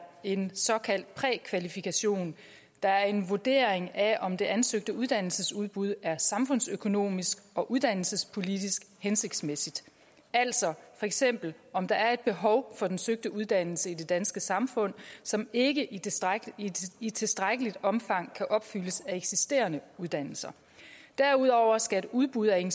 en såkaldt prækvalifikation der er en vurdering af om det ansøgte uddannelsesudbud er samfundsøkonomisk og uddannelsespolitisk hensigtsmæssigt altså for eksempel om der er et behov for den søgte uddannelse i det danske samfund som ikke i tilstrækkeligt i tilstrækkeligt omfang kan opfyldes af eksisterende uddannelser derudover skal et udbud af en